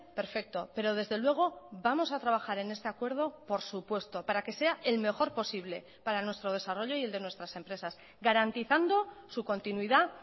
perfecto pero desde luego vamos a trabajar en este acuerdo por supuesto para que sea el mejor posible para nuestro desarrollo y el de nuestras empresas garantizando su continuidad